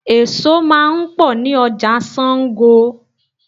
Èso máa ń pọ ni ọjà Sango.